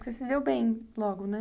Você se deu bem logo, né?